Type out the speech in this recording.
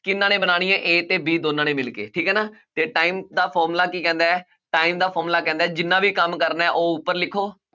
ਕਿਹਨਾਂ ਨੇ ਬਣਾਉਣੀਆਂ a ਤੇ b ਦੋਨਾਂ ਨੇ ਮਿਲ ਕੇ, ਠੀਕ ਹੈ ਨਾ ਤੇ time ਦਾ formula ਕੀ ਕਹਿੰਦਾ ਹੈ time ਦਾ formula ਕਹਿੰਦਾ ਹੈ ਜਿੰਨਾ ਵੀ ਕੰਮ ਕਰਨਾ ਹੈ ਉਹ ਉੱਪਰ ਲਿਖੋ,